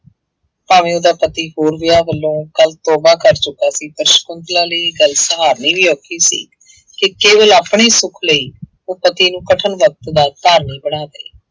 ਭਾਵੇਂ ਉਹਦਾ ਪਤੀ ਹੋਰ ਵਿਆਹ ਵੱਲੋਂ ਕੱਲ੍ਹ ਤੋਬਾ ਕਰ ਚੁੱਕਾ ਸੀ, ਪਰ ਸਕੁੰਤਲਾ ਲਈ ਇਹ ਗੱਲ ਸਹਾਰਨੀ ਵੀ ਔਖ ਸੀ, ਕਿ ਕੇਵਲ ਆਪਣੇ ਸੁੱਖ ਲਈ ਉਹ ਪਤੀ ਨੂੰ ਕਠਨ ਦਾ ਧਾਰਨੀ ਬਣਾ